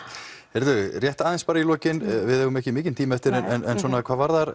heyrðu rétt aðeins í lokin við eigum ekki mikinn tíma eftir en svona hvað varðar